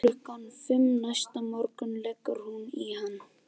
Klukkan fimm næsta morgun leggur hún í hann.